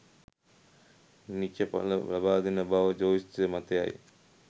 නීච පල ලබාදෙන බව ජ්‍යොතිෂ මතයයි